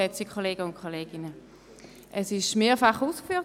Es wurde mehrfach ausgeführt: